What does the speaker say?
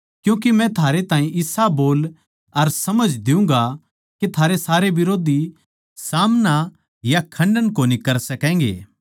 क्यूँके मै थारै ताहीं इसा बोल अर समझ दियुँगा के थारे सारे बिरोधी सामणा या खण्डन कोनी कर सकैगें